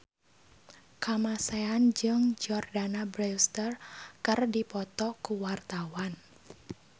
Kamasean jeung Jordana Brewster keur dipoto ku wartawan